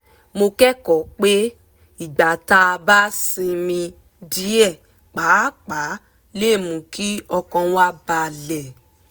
mo kẹ́kọ̀ọ́ pé ìgbà tá a bá sinmi díẹ̀ pàápàá lè mú kí ọkàn wa balẹ̀